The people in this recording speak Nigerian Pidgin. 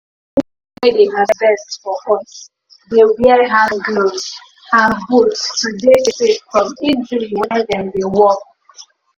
the people wey dey harvest fior us dey wear hand gloves and boot to dey safe from injury when dem dey work.